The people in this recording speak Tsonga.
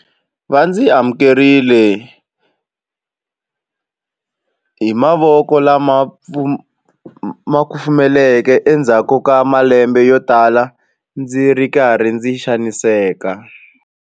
Va ndzi amukerile hi mavoko lama kufumelaka endzhaku ka malembe yotala ndzi ri karhi ndzi xaniseka.